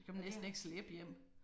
Det kan man næsten ikke slæbe hjem